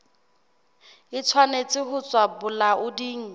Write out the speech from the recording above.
e tshwanetse ho tswa bolaoding